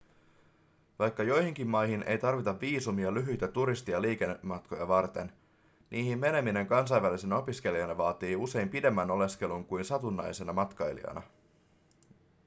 vaikka joihinkin maihin ei tarvita viisumia lyhyitä turisti- tai liikematkoja varten niihin meneminen kansainvälisenä opiskelijana vaatii usein pidemmän oleskelun kuin satunnaisena matkailijana